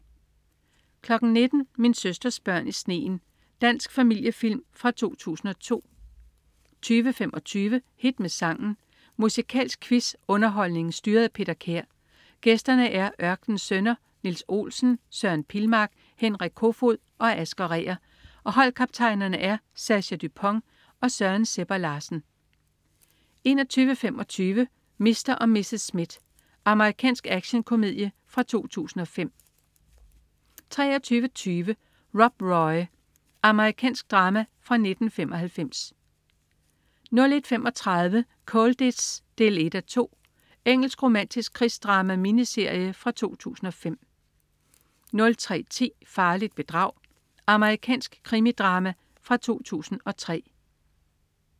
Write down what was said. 19.00 Min søsters børn i sneen. Dansk familiefilm fra 2002 20.25 Hit med sangen. Musikalsk quiz-underholdning styret af Peter Kær. Gæsterne er Ørkenens Sønner: Niels Olsen, Søren Pilmark, Henrik Koefoed og Asger Reher og holdkaptajnerne er Sascha Dupont og Søren Sebber Larsen 21.25 Mr. & Mrs. Smith. Amerikansk actionkomedie fra 2005 23.20 Rob Roy. Amerikansk drama fra 1995 01.35 Colditz 1:2. Engelsk romantisk krigsdrama-miniserie fra 2005 03.10 Farligt bedrag. Amerikansk krimidrama fra 2003